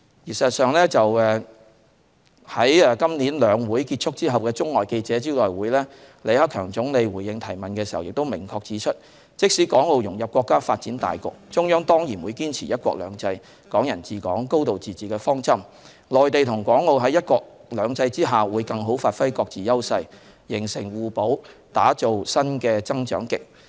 事實上，在今年"兩會"結束後的中外記者招待會上，李克強總理回應提問時亦明確指出，即使港澳融入國家發展大局，中央仍然會堅持"一國兩制"、"港人治港"、"高度自治"的方針；內地和港澳在"一國兩制"下，會更好發揮各自優勢，形成互補，打造新的增長極。